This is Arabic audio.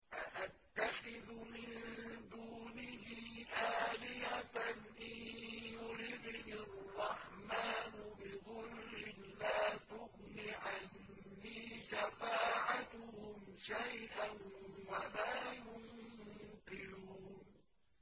أَأَتَّخِذُ مِن دُونِهِ آلِهَةً إِن يُرِدْنِ الرَّحْمَٰنُ بِضُرٍّ لَّا تُغْنِ عَنِّي شَفَاعَتُهُمْ شَيْئًا وَلَا يُنقِذُونِ